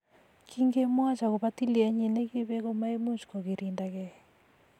Kingemwoch agobo tilyenyi ne kibek komaimuch kogirindakei